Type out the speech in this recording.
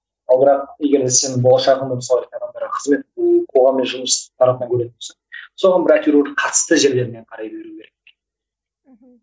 ал бірақ егер де сен болашағыңды мысалы адамдарға қызмет қоғаммен жұмыс тарапынан көретін болсаң соған бір әйтеуір қатысты жерлермен қарай беру керек мхм